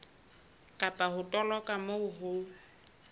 kapa ho toloka moo ho